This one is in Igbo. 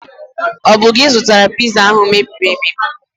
Ọ bụ gi zụtara Piza ahụ mebiri emebi?